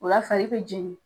Ola fari bɛ jɛnni